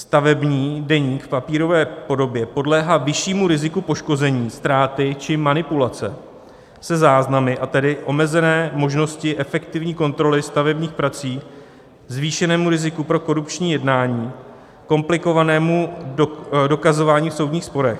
Stavební deník v papírové podobě podléhá vyššímu riziku poškození, ztráty či manipulace se záznamy, a tedy omezené možnosti efektivní kontroly stavebních prací, zvýšenému riziku pro korupční jednání, komplikovanému dokazování v soudních sporech.